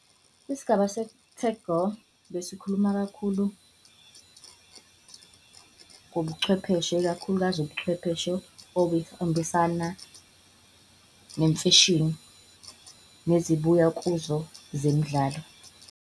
Isigaba seTech Girl besikhuluma kakhulu ngobuchwepheshe, ikakhulukazi ubuchwepheshe "obuhambisana nemfashini" nezibuyekezo zemidlalo.